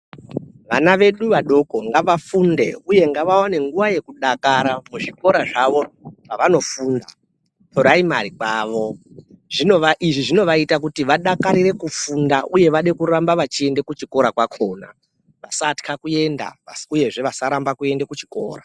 Vana vedu vadoko ngavafunde uye ngavaone nguva yekudakara muzvikora zvavo zvavanofunda kupuraimari kwavo. Izvi zvinovaita kuti vadakarire kufunda uye vade kuramba vachienda kuchikora kwakona vasatwa kuenda. uyezve vasaramba kuenda kuchikora.